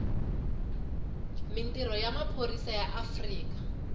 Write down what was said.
mintirho ya maphorisa ya afrika